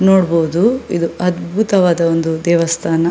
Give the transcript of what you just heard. ನೋಡ್ಬಹುದು ಇದು ಅದ್ಭುತವಾದ ಒಂದು ದೇವಸ್ಥಾನ --